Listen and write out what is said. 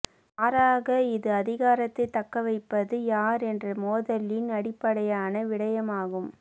மாறாக இது அதிகாரத்தை தக்கவைப்பது யார் என்ற மோதலின் அடிப்படையான விடயமாகும்